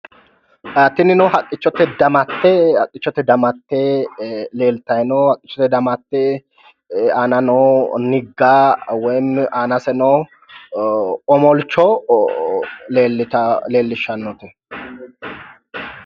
Tinino haqqichote damatte leelrayi no haqqichote damatte aana noo nigga woy anase omolcho leellitaate